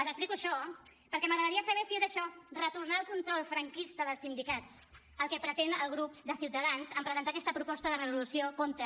els explico això perquè m’agradaria saber si és això retornar al control franquista dels sindicats el que pretén el grup de ciutadans en presentar aquesta proposta de resolució contra